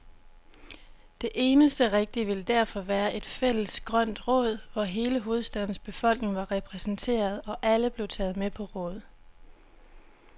Det eneste rigtige ville derfor være et fælles grønt råd, hvor hele hovedstadens befolkning var repræsenteret, og alle blev taget med på råd.